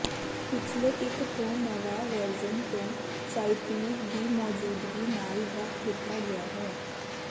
ਪਿਛਲੇ ਇੱਕ ਤੋਂ ਨਵਾਂ ਵਰਜਨ ਨੂੰ ਚਾਇਪੀਰ ਦੀ ਮੌਜੂਦਗੀ ਨਾਲ ਵੱਖ ਕੀਤਾ ਗਿਆ ਹੈ